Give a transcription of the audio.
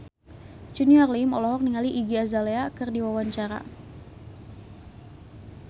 Junior Liem olohok ningali Iggy Azalea keur diwawancara